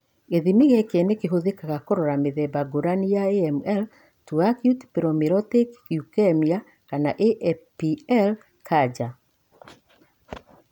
Gĩthimi gĩkĩ nĩ kĩhũthĩkaga kũrora mĩthemba ngũrani ya AML ta acute promyelocytic leukemia (APL).